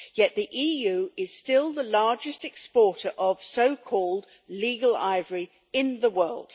Yet the EU is still the largest exporter of so called legal ivory' in the world.